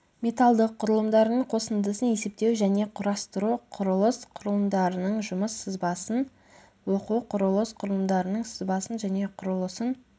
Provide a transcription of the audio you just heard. металдық құрылымдардың қосындысын есептеу және құрастыру құрылыс құрылымдарының жұмыс сызбасын оқу құрылыс құрылымдарының сызбасын және құрылысын